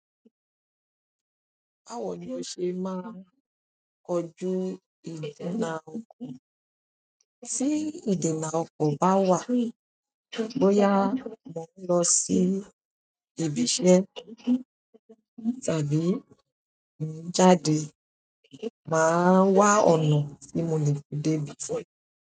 Báwo ni o ṣe máa ń kojú ìdènà ọkọ̀? Tí ìdènà ọkọ̀ bá wà, bóyá mo ń lọ sí ibi iṣẹ́ tàbí mo ń jáde, màá wa ọ̀nà tí mo lè dé ibi.